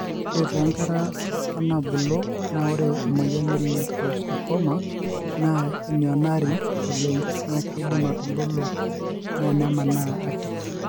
ore tonkera onabulu na ore emoyian e liposarcoma na enianori oleng na kindim atubulu na nemanaa akit